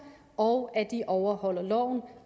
og at de overholder loven